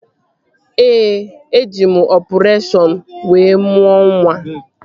Ee, eji m ọpụreshọn wee mụọ nwa